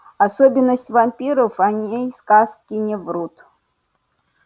особенность вампиров о ней сказки не врут